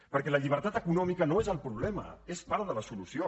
perquè la llibertat econòmica no és el problema és part de la solució